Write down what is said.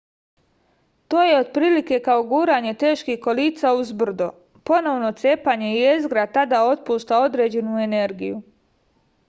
to je otprilike kao guranje teških kolica uz brdo ponovno cepanje jezgra tada otpušta određenu energiju